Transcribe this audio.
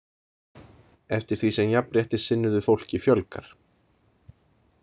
Eftir því sem jafnréttissinnuðu fólki fjölgar.